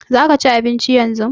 Za ka ci abinci yanzu?